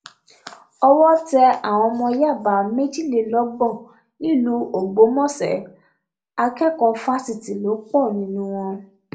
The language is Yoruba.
owó tẹ àwọn ọmọ yàbá méjìlélọgbọn nílùú ọgbọmọṣẹ akẹkọọ fásitì lò pọ nínú wọn